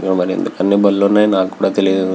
ఇక్కడ మరి ఎందుకన్ని బండ్లు ఉన్నాయో నాకు కూడ తెలీదు.